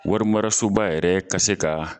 Warimarasoba yɛrɛ ka se ka.